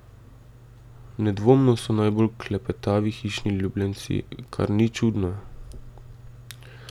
Nedvomno so najbolj klepetavi hišni ljubljenci, kar ni čudno.